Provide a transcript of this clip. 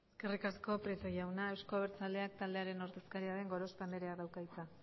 eskerrik asko prieto jauna euzko abertzaleak taldearen ordezkaria den gorospe andreak dauka hitza